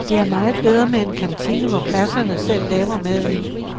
Det er meget bedre med en kantine, hvor klasserne selv laver maden.